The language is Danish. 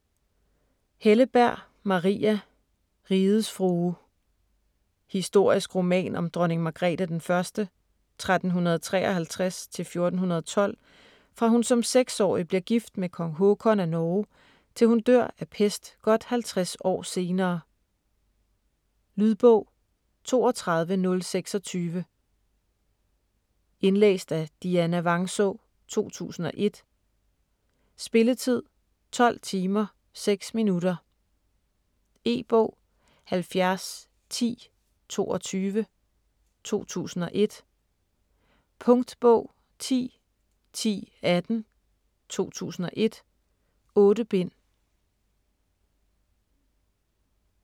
Helleberg, Maria: Rigets frue Historisk roman om dronning Margrete I (1353-1412), fra hun som seksårig bliver gift med kong Håkon af Norge, til hun dør af pest godt 50 år senere. Lydbog 32026 Indlæst af Dianna Vangsaa, 2001. Spilletid: 12 timer, 6 minutter. E-bog 701022 2001. Punktbog 101018 2001. 8 bind.